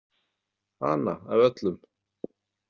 Hana af öllum!